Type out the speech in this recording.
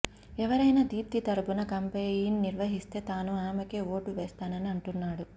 ఎవరైనా దీప్తి తరుఫున కాంపెయిన్ నిర్వహిస్తే తాను ఆమెకే ఓటు వేస్తానని అంటున్నాడు